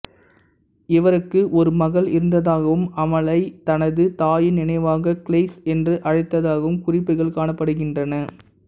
இவருக்கு ஒரு மகள் இருந்ததாகவும் அவளை தனது தாயின் நினைவாக கிளெயிஸ் என்று அழைத்ததாகவும் குறிப்புகள் காணப்படுகின்றன